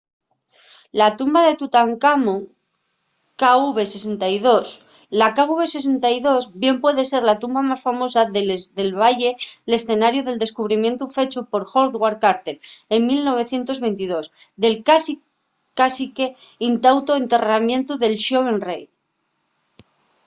la tumba de tutancamón kv62. la kv62 bien puede ser la tumba más famosa de les del valle l’escenariu del descubrimientu fechu por howard carter en 1922 del cásique intactu enterramientu del xoven rei